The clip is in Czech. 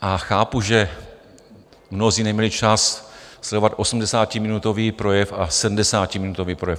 A chápu, že mnozí neměli čas sledovat osmdesátiminutový projev a sedmdesátiminutový projev.